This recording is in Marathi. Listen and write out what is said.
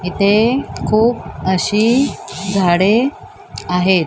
इथे खूप अशी झाडे आहेत.